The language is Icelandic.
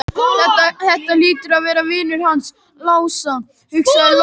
Þetta hlýtur að vera vinur hans Lása, hugsaði Lóa-Lóa.